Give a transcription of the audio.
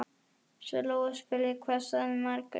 Svo Lóa spurði: Hvað sagði Margrét?